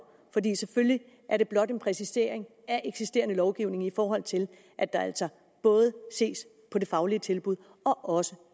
selvfølgelig er det blot en præcisering af eksisterende lovgivning i forhold til at der altså både ses på det faglige tilbud og også